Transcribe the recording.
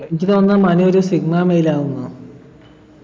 എനിക്ക് തോന്നുന്നു മനു ഒരു Sigma male ആണെന്നാ